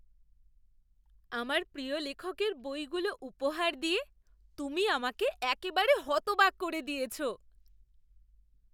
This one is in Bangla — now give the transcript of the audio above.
আমার প্রিয় লেখকের বইগুলো উপহার দিয়ে তুমি আমাকে একেবারে হতবাক করে দিয়েছো!